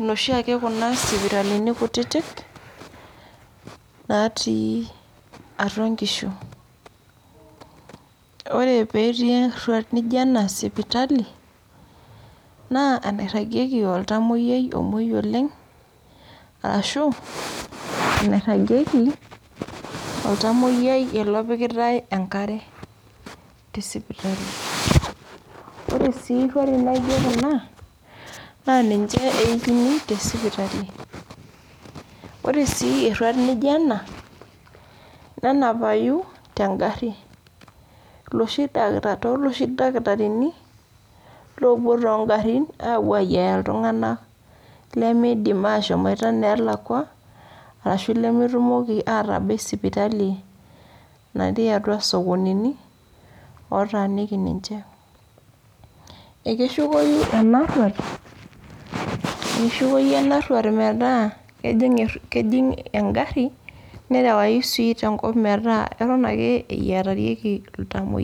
inoshiake kuna sipitalini kutitik, naatii atua inkishu. Wore pee etii erruat nijo ena sipitali, naa enairagieki oltamoyia omoi oleng', ashu enairagieki oltamoyia ele opikitae enkare tesipitali. Wore sii irruarin naijo kuna, naa ninche eikini te sipitali. Wore sii erruat nijo ena, nenapai tenkari. Tooloshi dakitarini oopuo toonkarin ayia iltunganak lemeidim aashomoita ineelakua, ashu lemetumoki aatabai sipitali natii atua isokonini, otaaniki ninche. Ekeshukoi ena rruat metaa kejing enkarri, nerewayi sii tenkop metaa eton ake eyiatarieki iltamoyia.